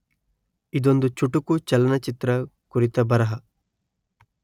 ಇದೊಂದು ಚುಟುಕು ಚಲನಚಿತ್ರ ಕುರಿತ ಬರಹ.